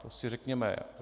To si řekněme.